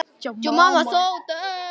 Þetta var meira allir saman.